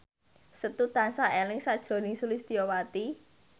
Setu tansah eling sakjroning Sulistyowati